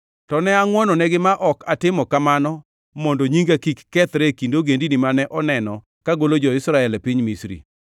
To ne angʼwononegi ma ok atimo kamano mondo nyinga kik kethre e kind ogendini mane oneno kagolo jo-Israel e piny Misri.